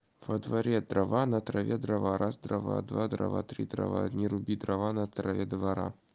во дворе трава на траве дрова раз дрова два дрова три дрова не руби дрова на траве двора